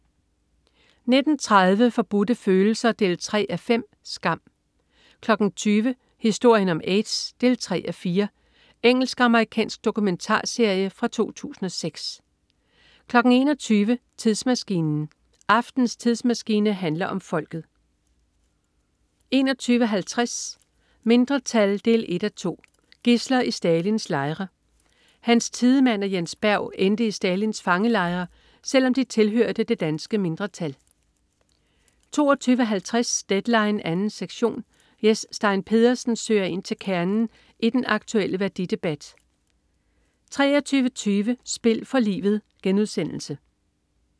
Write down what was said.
19.30 Forbudte Følelser 3:5. Skam 20.00 Historien om aids 3:4. Engelsk-amerikansk dokumentarserie fra 2006 21.00 Tidsmaskinen. Aftenens tidsmaskine handler om folket 21.50 Mindretal 1:2. Gidsler i Stalins lejre. Hans Tiedemann og Jens Berg endte i Stalins fangelejre, selv om de tilhørte det danske mindretal 22.50 Deadline 2. sektion. Jes Stein Pedersen søger ind til kernen i den aktuelle værdidebat 23.20 Spil for livet*